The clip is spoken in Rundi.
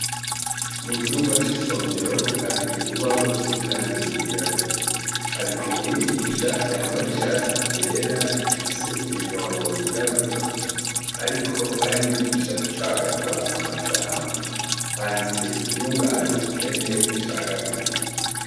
Mu cumba c' isomero hari urubaho rusize irangi ryirabura. Hari umwigisha yambaye ishati ryera, rifise imirongo yirabura, ariko arigisha gucagagura amajambo. Handitse iryungane ubukene ricagaguye.